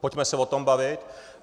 Pojďme se o tom bavit.